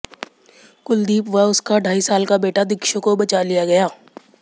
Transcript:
कुलदीप व उसका ढाई साल का बेटा दिक्षु को बचा लिया गया